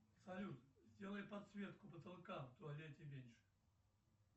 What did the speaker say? салют сделай подсветку потолка в туалете меньше